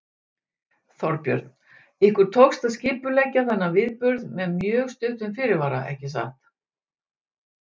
Þorbjörn: Ykkur tókst að skipuleggja þennan viðburð með mjög stuttum fyrirvara ekki satt?